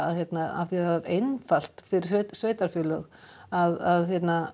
af því það er einfalt fyrir sveitarfélög að